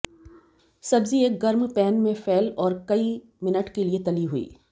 सब्जी एक गर्म पैन में फैल और कई मिनट के लिए तली हुई